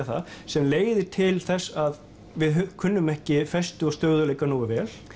það sem leiðir til þess að við kunnum ekki festu og stöðugleika nógu vel